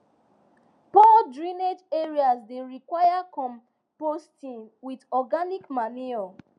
poor drainage areas dey require composting with organic manure